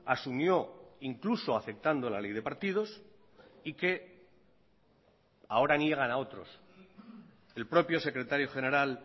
asumió incluso aceptando la ley de partidos y que ahora niegan a otros el propio secretario general